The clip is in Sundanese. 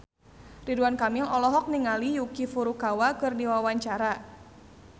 Ridwan Kamil olohok ningali Yuki Furukawa keur diwawancara